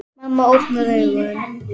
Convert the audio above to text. Mamma opnar augun.